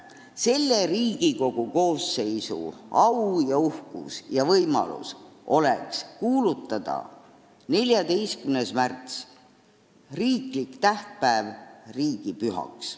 Selle Riigikogu koosseisu au ja uhkus ja võimalus oleks kuulutada 14. märts, riiklik tähtpäev, riigipühaks.